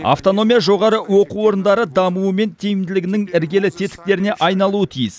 автономия жоғары оқу орындары дамуы мен тиімділігінің іргелі тетіктеріне айналуы тиіс